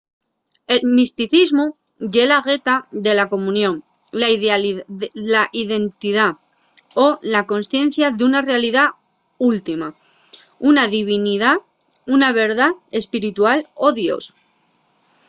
el misticismu ye la gueta de la comunión la identidá o la consciencia d’una realidá última una divinidá una verdá espiritual o dios